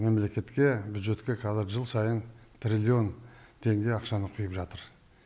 мемлекетке бюджетке қазір жыл сайын триллион теңге ақшаны құйып жатыр